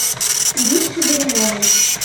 иришке горюновой